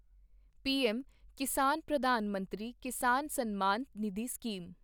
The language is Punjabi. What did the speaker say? PM Kisan Pradhan Mantri Kisan Samman Nidhi scheme